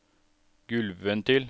gulvventil